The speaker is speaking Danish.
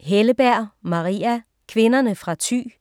Helleberg, Maria: Kvinderne fra Thy